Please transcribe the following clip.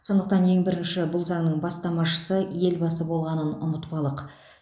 сондықтан ең бірінші бұл заңның бастамашысы елбасы болғанын ұмытпалық